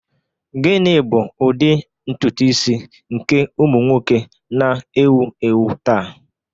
Gịnị bụ ụdị ntutu isi nke ụmụ nwoke na-ewu ewu taa?